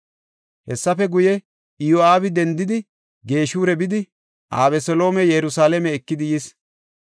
Hessafe guye, Iyo7aabi dendidi Geshura bidi Abeseloome Yerusalaame ekidi yis.